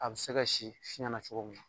A bɛ se ka si fiɲɛ na cogo mun na.